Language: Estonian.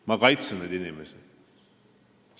Ma kaitsen neid inimesi.